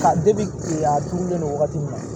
Ka kile a turulen don wagati min na